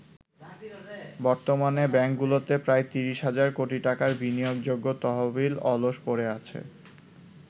বর্তমানে ব্যাংকগুলোতে প্রায় ৩০ হাজার কোটি টাকার বিনিয়োগযোগ্য তহবিল অলস পড়ে আছে।